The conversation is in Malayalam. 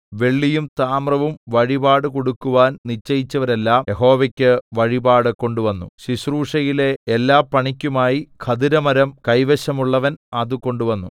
വെള്ളിയും താമ്രവും വഴിപാടുകൊടുക്കുവാൻ നിശ്ചയിച്ചവരെല്ലാം യഹോവയ്ക്ക് വഴിപാട് കൊണ്ടുവന്നു ശുശ്രൂഷയിലെ എല്ലാപണിക്കുമായി ഖദിരമരം കൈവശമുള്ളവൻ അതുകൊണ്ടുവന്നു